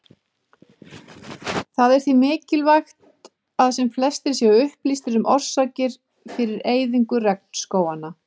Það er því mikilvægt að sem flestir séu upplýstir um orsakir fyrir eyðingu regnskóganna.